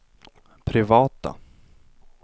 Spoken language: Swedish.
privata